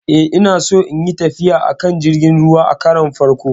E, Ina so in yi tafiya a kan jirgin ruwa a karon farko.